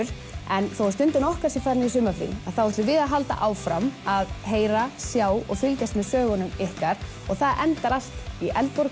en þó Stundin okkar sé farin í sumarfrí þá ætlum við að halda áfram að heyra sjá og fylgjast með sögunum ykkar og það endar allt í